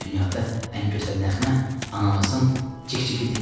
Dünyada ən gözəl nəğmə anamızın cik-cikidir.